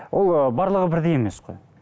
ол ы барлығы бірмей емес қой